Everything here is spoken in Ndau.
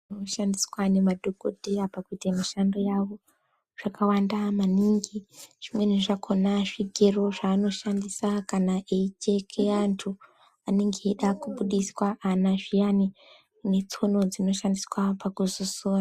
.zvishandiswa nemadhogodheya pakuite mishando yavo zvakawanda maningi. Zvimweni zvakona zvigero zvaanoshandisa kana eicheke antu anenge eida kubudiswa mwana zviyani, netsono dzekuzoso....